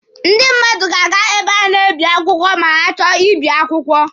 Ndị mmadụ ga-aga ebe a na-ebi akwụkwọ ma ha chọọ ibi akwụkwọ.